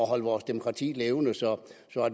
holde vores demokrati levende så